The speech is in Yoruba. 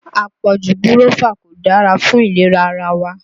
Àpọ̀jù gírọ́fà kò dára fún ìlera ara wa